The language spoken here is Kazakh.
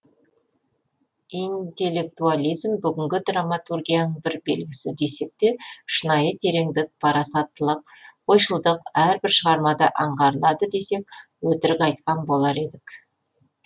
интеллектуализм бүгінгі драматургияның бір белгісі десек те шынайы тереңдік парасаттылық ойшылдық әрбір шығармада аңғарылады десек өтірік айтқан болар едік